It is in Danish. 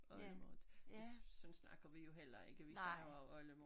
Oldemor det sådan snakker vi jo heller ikke vi siger jo også oldemor